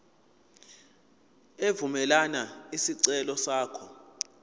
evumela isicelo sakho